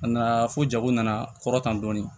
A nana fo jago nana kɔrɔtan dɔɔni